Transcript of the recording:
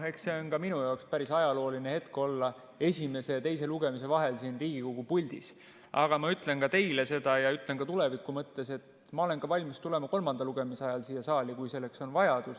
Eks see on ka minu jaoks päris ajalooline hetk olla esimese ja teise lugemise vahel siin Riigikogu puldis, aga ma ütlen teile seda ja ütlen ka tuleviku mõttes: ma olen valmis tulema ka kolmanda lugemise ajal siia saali, kui selleks on vajadus.